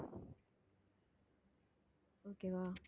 okay வா